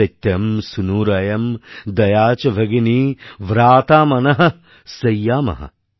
সত্যম্ সুনুরয়াম্ দয়া চ ভগিনী ভ্রাতা মনহঃ সইয়ামহ